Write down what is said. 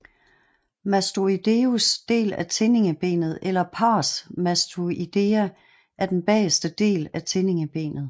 Mastoideus del af tindingebenet eller Pars Mastoidea er den bagerste del af tindingebenet